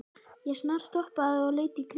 Ég snarstoppaði og leit í kringum mig.